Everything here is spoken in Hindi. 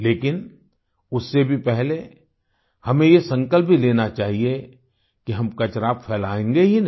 लेकिन उससे भी पहले हमें ये संकल्प भी लेना चाहिए कि हम कचरा फैलाएंगे ही नहीं